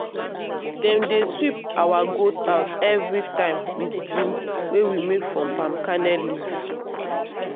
dem dey sweep our goat house every time with broom wey we make from palm kernel leaf